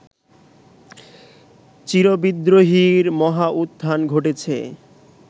চিরবিদ্রোহীর মহাউত্থান ঘটেছে